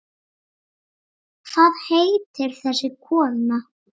Hvað heitir þessi kona?